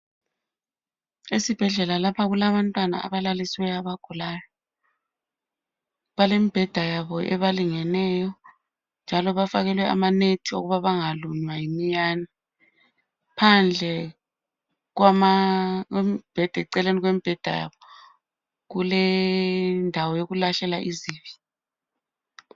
Esibhedlela lapha kulabantwana abalalisiweyo abagulayo. Balembheda yabo ebalingeneyo njalo bafakelwe amanethi wokuba bengalunywa yimiyane. Phandle kwembheda eceleni kwembheda yabo kulendawo yokulahlela izibi.